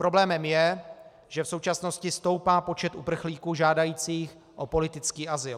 Problémem je, že v současnosti stoupá počet uprchlíků žádajících o politický azyl.